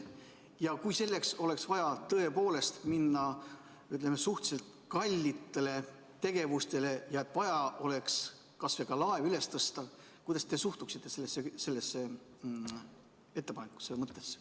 Ja kui selleks oleks tõepoolest vaja suhteliselt kalliks minevaid tegevusi ja vaja oleks näiteks laev üles tõsta, siis kuidas te suhtuksite sellesse ettepanekusse?